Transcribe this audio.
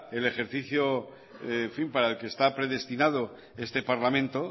el ejercicio en fin para el que está predestinado este parlamento